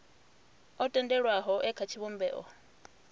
o tendelwaho e kha tshivhumbeo